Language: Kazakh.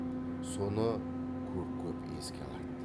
соны көп көп еске алады